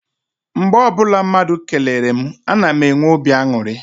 Mgbe ọbụla mmadụ kelere mụ, a na m enwe obi aṅụrị.